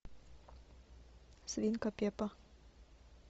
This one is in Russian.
свинка пеппа